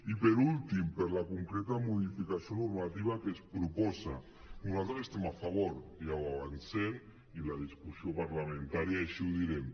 i per últim per la concreta modificació normativa que es proposa nosaltres hi estem a favor ja ho avancem i a la discussió parlamentària així ho direm